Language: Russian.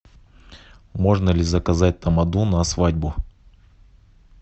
можно ли заказать тамаду на свадьбу